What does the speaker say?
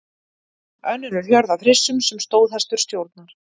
Önnur er hjörð af hryssum sem stóðhestur stjórnar.